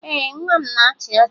Ee, nwa m na-achị ọchị